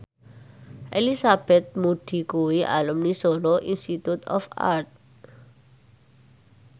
Elizabeth Moody kuwi alumni Solo Institute of Art